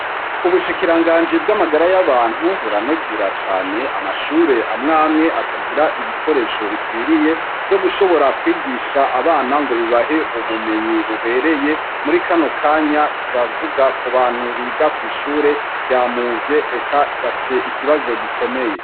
Ubushikiranganji bw'amagara y'abantu buranegura cane amashure amwamwe atagira ibikoresho bikwiriye vyo gushobora kwigisha abana ngo bibahe ubumenyi bubereye, muri kano kanya turavuga ku bantu biga kw'ishure rya Muzye eka bafise ikibazo gikomeye.